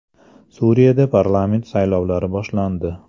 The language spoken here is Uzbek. Suriyada parlament saylovlari boshlandi.